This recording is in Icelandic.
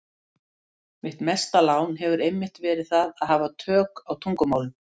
Mitt mesta lán hefur einmitt verið það að hafa tök á tungumálum.